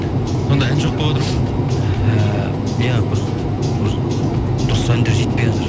сонда ән жоқ болып отыр ма ііі иә бір дұрыс әндер жетпейатыр